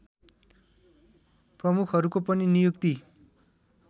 प्रमुखहरूको पनि नियुक्ति